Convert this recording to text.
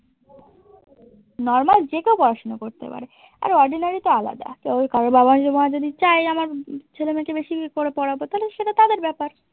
normal যে কেও পড়াশোনা করতে পাড়ে আর ordinary তো আলাদা, তবে কারোর বাবা মা যদি ছায় যে আমার ছেলে মেয়েকে বেশি করে পড়াবো তালে সেতা তাদের ব্যাপার।